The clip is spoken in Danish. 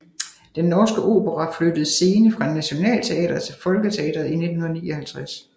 Den Norske Opera flyttede scene fra Nationaltheatret til Folketeatret i 1959